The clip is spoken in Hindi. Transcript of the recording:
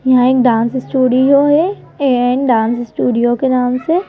डांस स्टूडियो है ए एंड डांस स्टूडियो के नाम से।